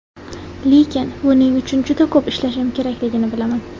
Lekin buning uchun juda ko‘p ishlashim kerakligini bilaman.